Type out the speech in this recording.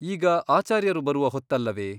ಈಗ ಆಚಾರ್ಯರು ಬರುವ ಹೊತ್ತಲ್ಲವೆ ?